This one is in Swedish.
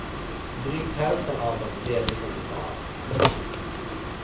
Drygt hälften av dem lever i tunnelbanan.